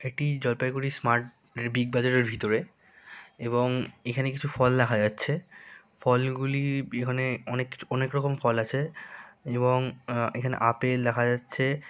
এটি Jalpaiguri smart big বাজারের ভিতরে এবং এখানে কিছু ফল দেখা যাচ্ছে ফলগুলি বিহনে অনেক কিছু অনেক রকম ফল আছে এবং এখানে আপেল দেখা যাচ্ছে- -